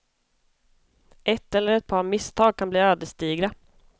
Ett eller ett par misstag kan bli ödesdigra.